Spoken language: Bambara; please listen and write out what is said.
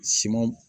Siman